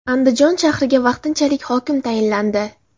Andijon shahriga vaqtinchalik hokim tayinlandi.